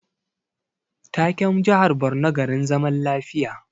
Taken jihar Borno garin zaman lafiya